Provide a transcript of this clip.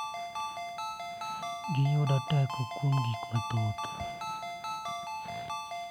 Giyudo teko kuom gik mathoth,